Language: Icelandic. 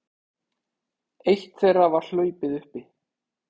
Eitt þeirra var hlaupið uppi